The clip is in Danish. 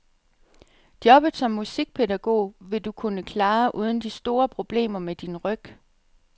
Jobbet som musikpædagog vil du kunne klare uden de store problemer med din ryg.